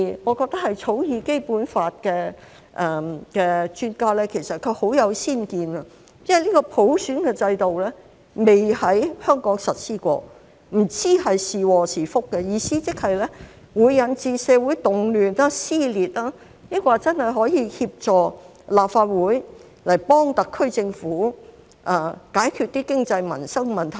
我覺得草擬《基本法》的專家很有先見，因為普選制度不曾在香港實施，不知是禍是福，意思即是會引致社會動亂、撕裂，抑或真的可以協助立法會幫特區政府解決經濟民生問題呢？